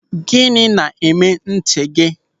Gịnị na-eme ntị gị?